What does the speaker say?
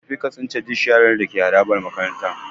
Tafi ka tsince duk sharar da ke harabar makarantar.